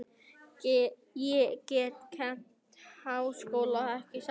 Ég get kennt við háskólann, ekki satt?